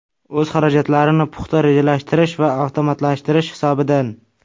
O‘z xarajatlarini puxta rejalashtirish va avtomatlashtirish hisobidan.